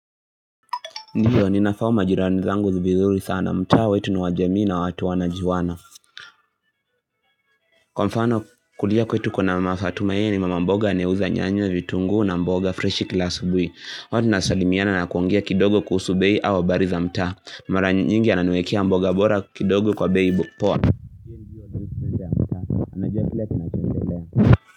Ndio ninafahamu majirani zangu vizuri sana mtaa wetu ni wa jamii na watu wanajuana Kwa mfano kulia kwetu kuna Mafatuma ye ni mama mboga anayeuza nyanya vitungu na mboga fresh kila asubuhi huwa tunasalimiana na kuongea kidogo kuhusu bei au habari za mtaa Mara nyingi ananiwekea mboga bora kidogo kwa beii poa.